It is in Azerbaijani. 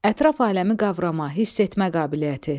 Ətraf aləmi qavrama, hiss etmə qabiliyyəti.